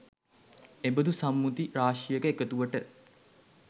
එබඳු සම්මුති රාශියක එකතුවට